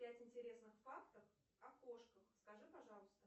пять интересных фактов о кошках скажи пожалуйста